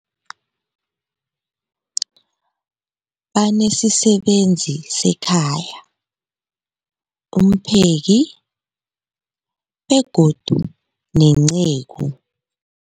Banesisebenzi sekhaya, umpheki, begodu nenceku.